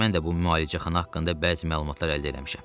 Mən də bu müalicəxana haqqında bəzi məlumatlar əldə eləmişəm.